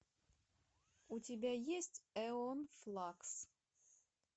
у тебя есть эон флакс